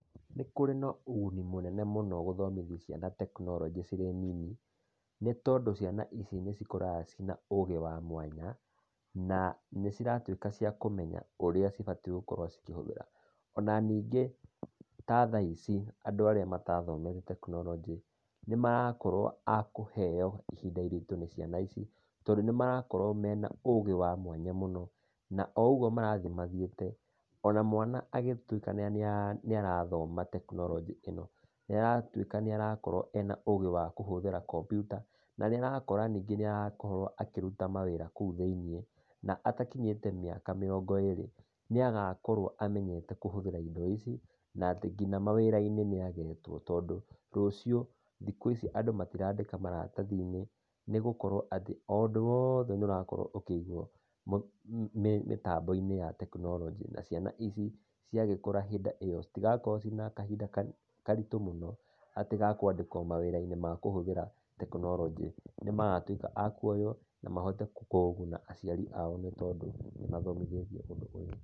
Nĩkũrĩ na ũguni mũnene mũno gũthomithia ciana tekinoronjĩ cirĩ nini, nĩtondũ ciana ici nĩcikũraga ciĩ na ũgĩ wa mwanya, na nĩciratuĩka cia kũmenya ũrĩa cibatiĩ gũkorwo cikĩhũthĩra. Ona ningĩ, ta thaa ici, andũ arĩa matathomete tekinoronjĩ, nĩmaraorwo akũheo ihinda iritũ nĩ ciana ici, tondũ nĩmarakorwo mena ũgĩ wa mwanya mũno, na oũguo marathiĩ mathiĩte, ona mwana agĩtuĩka nĩarathoma tekinoronjĩ ĩno, nĩaratuĩka nĩarakorũo ena ũgĩ wa kũhũthĩra kombiuta, na nĩarakora ningĩ nĩarakorwo akĩruta mawĩra kũu thĩiniĩ, na atakinyĩte mĩaka mĩrongo ĩrĩ, nĩagakorwo amenyete kũhũthĩra indo ici, na atĩ, kinya mawĩra-inĩ nĩ agetwo, tondũ, rũciũ, thikũ ici andũ matirandĩka maratathi-inĩ, nĩgũkorwo atĩ o ũndũ woothe nĩũrakorwo ũkĩigũo mĩtambo-inĩ ya tekinoronjĩ, na ciana ici ciagĩkũra hĩndĩ ĩyo citigakorwo ciĩna kahinda karitũ mũno, atĩ gakwandĩkwo mawĩra-inĩ ma kũhũthĩra tekinoronjĩ. Nĩmagatuĩka akuoyũo, na mahote kũguna aciari ao nĩtondũ nĩmathomithĩtio tekinoronjĩ.